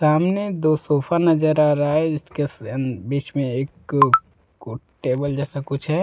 सामने दो सोफा नजर आ रहा है। इसके बीच में एक को टेबल जैसा कुछ है।